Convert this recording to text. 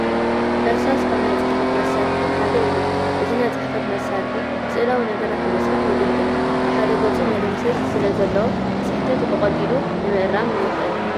እርሳሳ ካብ ናይ ፅሕፈት መሳርሒ ሓደ እዩ፡፡ እዚ ናይ ፅሕፈት መሳርሒ ስእላዊ ነገራት ንምስራሕ የገልግል፡፡ ብሓደ ገፁ መደምሰስ ስለዘለዎ ስሕተት ብቐሊሉ ንምእራም የኽእል፡፡